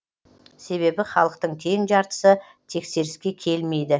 себебі халықтың тең жартысы тексеріске келмейді